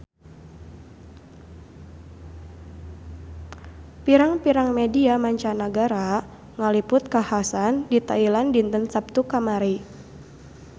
Pirang-pirang media mancanagara ngaliput kakhasan di Thailand dinten Saptu kamari